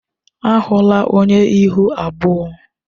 Awụla onye ihu abụọ!